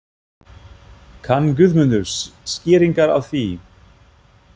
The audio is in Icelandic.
Kann Guðmundur skýringar á því?